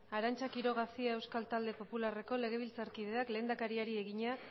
arantza quiroga cia euskal talde popularreko legebiltzarkideak lehendakariari egina